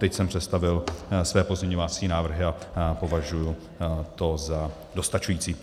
Teď jsem představil své pozměňovacími návrhy a považuji to za dostačující.